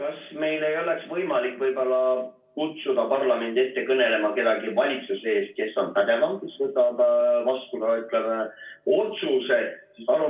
Kas meil ei oleks võimalik võib-olla kutsuda parlamendi ette kõnelema kedagi valitsusest, kes on pädevam ja kes võtab vastu ka, ütleme, otsuse?